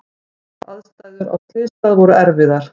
Aðstæður á slysstað voru erfiðar.